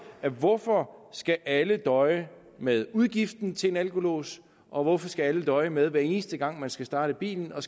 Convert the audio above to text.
at hvorfor skal alle døje med udgiften til en alkolås og hvorfor skal alle døje med hver eneste gang de skal starte bilen at